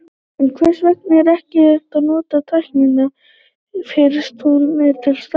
En hvers vegna ekki að notast við tæknina fyrst hún er til staðar?